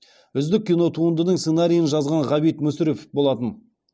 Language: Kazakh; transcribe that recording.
үздік кинотуындының сценариін жазған ғабит мүсірепов болатын